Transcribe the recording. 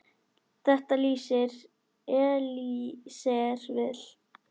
Þetta lýsir Elíeser vel.